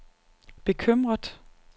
bekymret